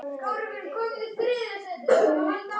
Guð geymi þau saman.